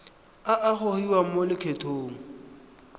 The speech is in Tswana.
a a gogiwang mo lokgethong